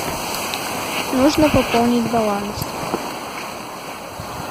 нужно пополнить баланс